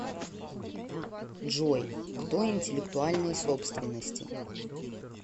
джой кто интеллектуальной собственности